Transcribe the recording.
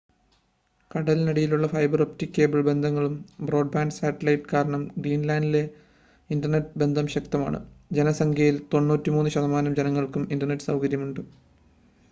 കടലിനടിയിലൂടെയുള്ള fibre optic cable ബന്ധങ്ങളും broadband സാറ്റലൈറ്റും കാരണം ഗ്രീൻലാൻഡിൽ ഇൻറ്റർനെറ്റ് ബന്ധം ശക്തമാണ് ജനസംഖ്യയിൽ 93% ശതമാനം ജനങ്ങൾക്കും ഇൻ്റർനെറ്റ് സൗകര്യമുണ്ട്